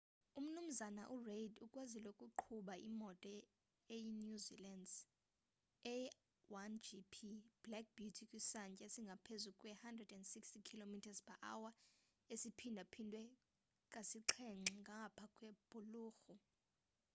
u mnumzana u reid ukwazile ukuqhuba imoto eyi new zealand's a1gp black beauty kwisantya esingaphezu kwe 160km/h esiphindaphindwe kasixhenxe ngapha kwebhulorho